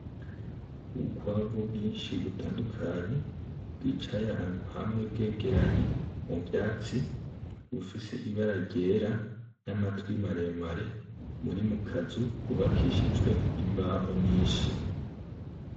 Ubukwavu bwinshi butandukanye bwicaye ahantu hamwe bwegeranye muvyatsi bufise ibara ryera , namatwi mare mare buri mukazu kubakishijwe imbaho nyinshi .